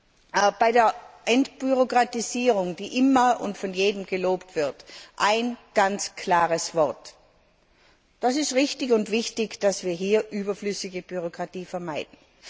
Zur Entbürokratisierung, die immer und von jedem gelobt wird, ein ganz klares Wort Es ist richtig und wichtig, dass wir hier überflüssige Bürokratie vermeiden.